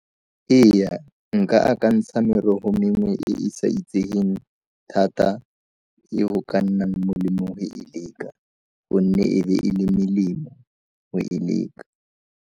Eya, nka akantsha merogo mengwe e e sa itsegeng thata le go ka nna molemo go e leka gonne e be e le melemo go e leka.